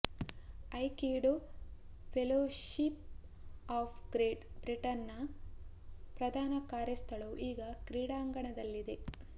aikido Fellowship of Great Britain ನ ಪ್ರಧಾನ ಕಾರ್ಯಸ್ಥಳವು ಈ ಕ್ರೀಡಾಂಗಣದಲ್ಲಿದೆ